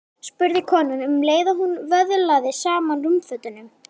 spurði konan um leið og hún vöðlaði saman rúmfötunum.